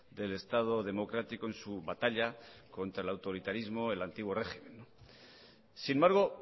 del estado democrático en su batalla contra el autoritarismo del antiguo régimen sin embargo